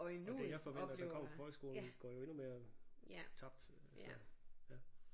Og det jeg forventer der kommer fra folkeskolen går jo endnu mere tabt altså ja